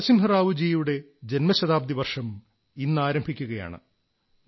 നരസിംഹറാവു ജിയുടെ ജൻമ ശതാബ്ദി വർഷം ഇന്നാരംഭിക്കയാണ്